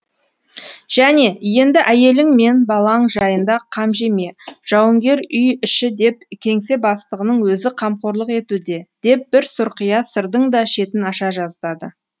және енді әйелің мен балаң жайында қам жеме жауынгер үй іші деп кеңсе бастығының өзі қамқорлық етуде деп бір сұрқия сырдың да шетін аша жаздады